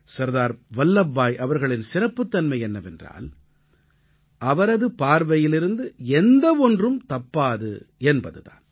சர்தார் வல்லப்பாய் அவர்களின் சிறப்புத்தன்மை என்னவென்றால் அவரது பார்வையிலிருந்து எந்த ஒன்றும் தப்பாது என்பது தான்